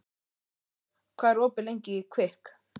Gunnleif, hvað er opið lengi í Kvikk?